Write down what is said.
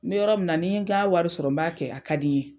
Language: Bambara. N bɛ yɔrɔ min na n'i n ka wari sɔrɔ b'a kɛ a ka di n ye.